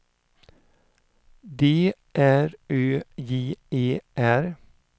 D R Ö J E R